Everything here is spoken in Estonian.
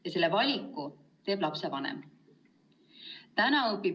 Ja selle valiku teeb lapsevanem.